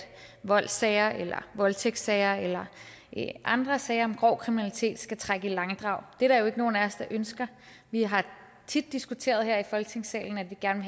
voldssager eller voldtægtssager eller andre sager om grov kriminalitet skal trække i langdrag det er der jo ikke nogen af os der ønsker vi har tit diskuteret her i folketingssalen at vi gerne